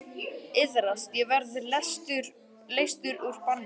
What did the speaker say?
Iðrast og verða leystur úr banni.